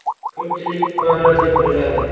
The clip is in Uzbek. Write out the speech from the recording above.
Ko‘pchilik PR deb o‘yladi.